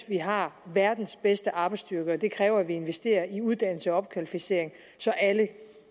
vi har verdens bedste arbejdsstyrke og det kræver at vi investerer i uddannelse og opkvalificering så alle